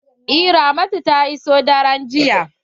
Eh ramatu ta iso daren jiya.